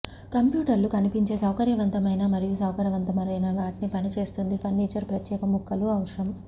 కంప్యూటర్లు కనిపించే సౌకర్యవంతమైన మరియు సౌకర్యవంతమైన వాటిని పని చేస్తుంది ఫర్నిచర్ ప్రత్యేక ముక్కలు అవసరం